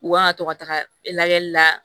U kan ka to ka taga lajɛli la